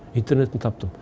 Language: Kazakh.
интернеттен таптым